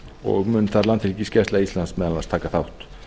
og mun þar landhelgisgæsla íslands meðal annars taka þátt